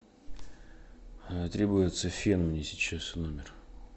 требуется фен мне сейчас в номер